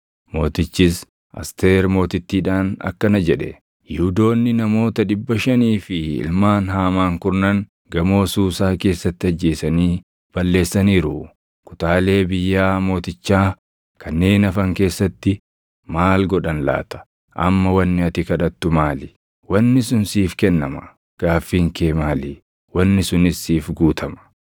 Mootichis Asteer Mootittiidhaan akkana jedhe; “Yihuudoonni namoota dhibba shanii fi ilmaan Haamaan kurnan gamoo Suusaa keessatti ajjeesanii balleessaniiru. Kutaalee biyyaa mootichaa kanneen hafan keessatti maal godhan laata? Amma wanni ati kadhattu maali? Wanni sun siif kennama. Gaaffiin kee maali? Wanni sunis siif guutama.”